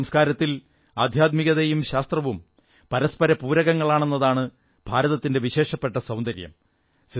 നമ്മുടെ സംസ്കാരത്തിൽ ആദ്ധ്യാത്മികതയും ശാസ്ത്രവും പരസ്പര പൂരകങ്ങളാണെന്നതാണ് ഭാരതത്തിന്റെ വിശേഷപ്പെട്ട സൌന്ദര്യം